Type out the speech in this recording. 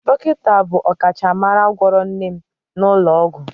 Dọkịta bụ ọkachamara gwọrọ nne m n'ụlọ ọgwụ